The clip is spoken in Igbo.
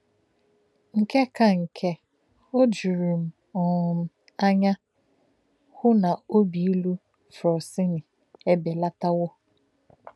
Nke ka nke, ó jùrù m um ánya hụ̀ na òbí ìlù Frosini ebelátàwo.